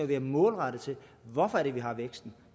være målrettet hvorfor er det vi har væksten